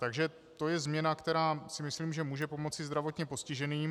Takže to je změna, která si myslím, že může pomoci zdravotně postiženým.